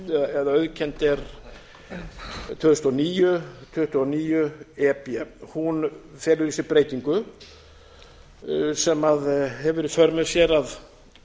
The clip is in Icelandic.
eða auðkennd er tvö þúsund og níu tuttugu og níu e b hún felur í sér breytingu sem hefur í för með sér að